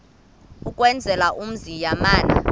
ukwenzela umzi yamana